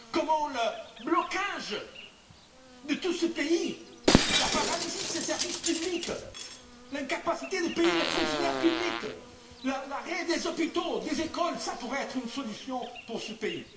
Comment le blocage de tout ce pays, la paralysie de ses services publics, l'incapacité de payer les fonctionnaires publics, l'arrêt des hôpitaux, des écoles, pourraient être une solution pour ce pays?